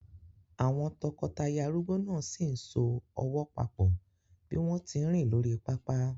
Àwọn tọkọtaya arúgbó náà sì ń so ọwọ́ papọ̀ bí wọ́n tí ń rìn lórí pápá.